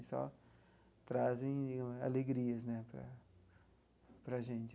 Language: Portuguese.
E só trazem alegrias né para para a gente.